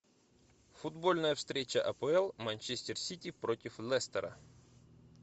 футбольная встреча апл манчестер сити против лестера